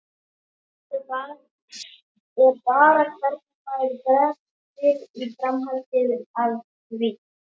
Spurningin er bara hvernig maður bregst við í framhaldi af því.